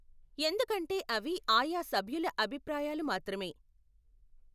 ఎందుకంటే అవి ఆయా సభ్యుల అభిప్రాయాలు మాత్రమే.